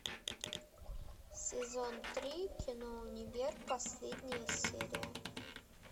сезон три кино универ последняя серия